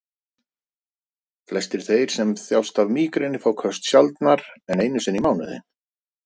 Flestir þeir sem þjást af mígreni fá köst sjaldnar en einu sinni í mánuði.